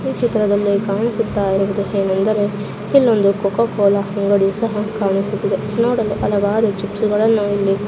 ಈ ಚಿತ್ರದಲ್ಲಿ ಕಾಣಿಸುತ್ತ ಇರುವುದು ಎನೆಂದರೆ ಇಲ್ಲೊಂದು ಕೋಕೋ ಕೋಲಾ ಅಂಗಡಿಯು ಸಹ ಕಾಣಿಸುತ್ತಿದೆ ನೋಡಲು ಹಲವಾರು ಚಿಪ್ಸ್ಗಳನ್ನು ಇಲ್ಲಿ